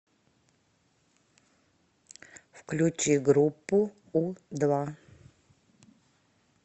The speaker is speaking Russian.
включи группу у два